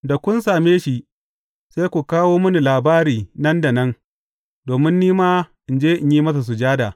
Da kun same shi, sai ku kawo mini labari nan da nan, domin ni ma in je in yi masa sujada.